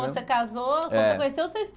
Quando você casou. É. Quando você conheceu sua